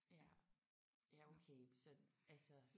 Ja. Ja okay så altså